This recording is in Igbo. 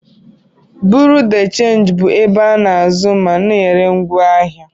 Bureau de change bụ ebe a na-azụ ma na-ere ngwaahịa.